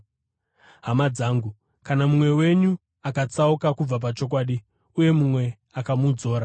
Hama dzangu, kana mumwe wenyu akatsauka kubva pachokwadi uye mumwe akamudzora,